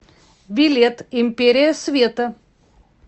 билет империя света